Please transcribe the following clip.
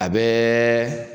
A bɛɛ